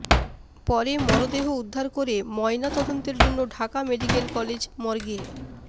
পরে মরদেহ উদ্ধার করে ময়না তদন্তের জন্য ঢাকা মেডিক্যাল কলেজ মর্গে